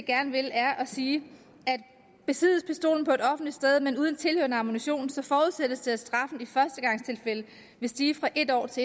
gerne vil er at sige at besiddes pistolen på et offentligt sted men uden tilhørende ammunition så forudsættes det at straffen i førstegangstilfælde vil stige fra en års